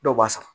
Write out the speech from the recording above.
Dɔw b'a san